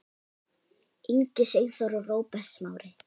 Ingi Sigþór og Róbert Smári.